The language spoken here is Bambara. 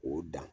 O dan